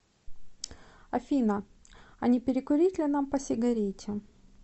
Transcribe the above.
афина а не перекурить ли нам по сигарете